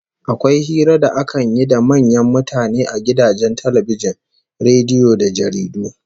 Akwai hira da akan yi da manyan mutane a gidajen talbijin, rediyo da jaridu